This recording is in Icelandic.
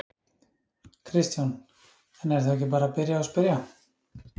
Kristján: En er þá ekki bara að byrja og spyrja?